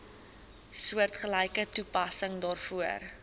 soortgelyke toepassing daarvoor